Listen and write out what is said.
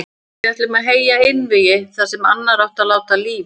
Við ætluðum að heyja einvígi þar sem annar átti að láta lífið.